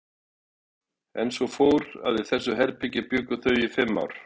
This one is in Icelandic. En svo fór, að í þessu herbergi bjuggu þau í fimm ár.